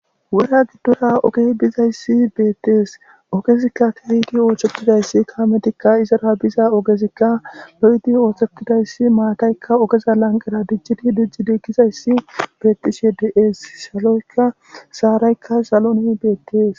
Wora gidora ogey dizayisi beteesi ogezika kehi oththetidayisa kametikka izara biza ogezikka kehippe oththetidayisa matayika iza laniqera dicidi dicid dizayis betishe deesi sharayikkaa salon beteesi